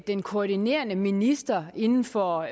den koordinerende minister inden for